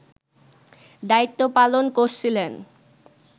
দায়িত্ব পালন করছিলেন